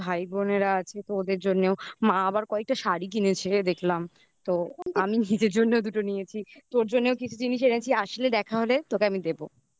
ভাই বোনেরা আছে তো ওদের জন্যেও মা আবার কয়েকটা শাড়ি কিনেছে রে দেখলাম আমি নিজের জন্যও দুটো নিয়েছি. তোর জন্যও কিছু জিনিস এনেছি. আসলে দেখা হলে তোকে আমি দেবো